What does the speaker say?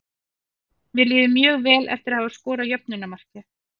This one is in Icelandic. Mér líður mjög vel eftir að hafa skorað jöfnunarmarkið.